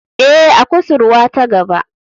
Ee, a kusurwa ta gaba.